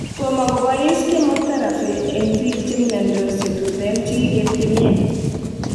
Tomo kobois Chemotherapy en biik chemyondos chetuten chekiketyemen